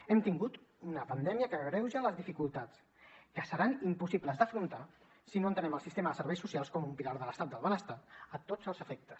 hem tingut una pandèmia que agreuja les dificultats que seran impossibles d’afrontar si no entenem el sistema de serveis socials com un pilar de l’estat del benestar a tots els efectes